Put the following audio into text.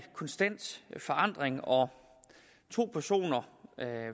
konstant forandring og to personer